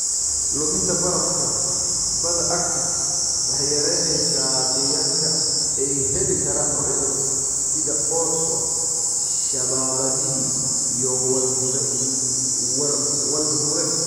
Luminta barafka badda Arctic waxay yaraynaysaa deegaanka ay heli karaan noocyada sida orso, shaabadihii, iyo walruses.